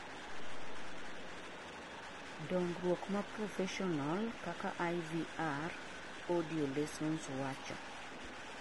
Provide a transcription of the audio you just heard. dongruok maproffesional kaka IVR audiolessons wacho